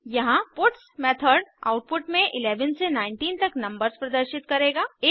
यहाँ puts method output में 11 से 19 तक नंबर्स प्रदर्शित करेगा